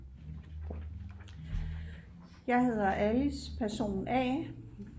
jeg hedder Alice person a